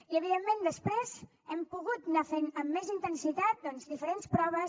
i evidentment després hem pogut anar fent amb més intensitat doncs diferents proves